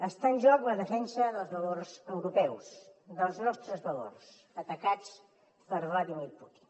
està en joc la defensa dels valors europeus dels nostres valors atacats per vladímir putin